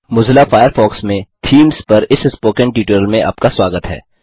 Mozilla Firefox में themes पर इस स्पोकन ट्यूटोरियल में आपका स्वागत है